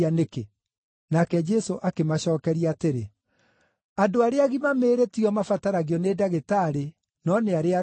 Nake Jesũ akĩmacookeria atĩrĩ, “Andũ arĩa agima mĩĩrĩ tio mabataragio nĩ ndagĩtarĩ, no nĩ arĩa arũaru.